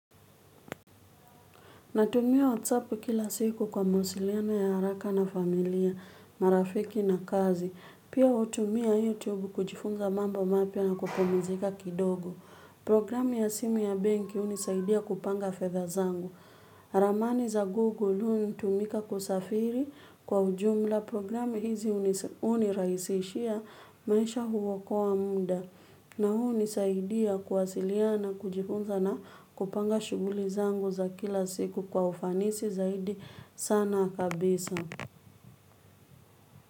Natumia WhatsApp kila siku kwa mawasiliano ya haraka na familia, marafiki na kazi. Pia hutumia YouTube kujifunza mambo mapya na kupumzika kidogo. Programu ya simu ya benki hunisaidia kupanga fedha zangu. Ramani za Google hunitumika kusafiri kwa ujumla programu hizi uniraisishia maisha huokoa muda. Na huu unisaidia kuwasiliana kujifunza na kupanga shuguli zangu za kila siku kwa ufanisi zaidi sana kabisa.